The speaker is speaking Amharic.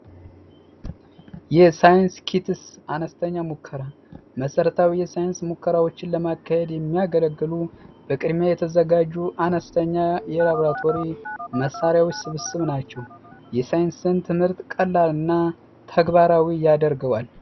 የሳይንስ አነስተኛ ሙከራ መሰረታዊ ሳይንስ ሙከራዎችን ለማከ የሚያገለግሉ በቅድሚያ የተዘጋጁ አነስተኛ መሣሪያዎች ስብስብ ናቸው የሳይንስን ትምህርት ቀላልና ተግባራዊ ያደርገዋል